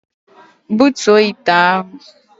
Butuo ite ahụ!